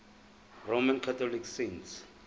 roman catholic saints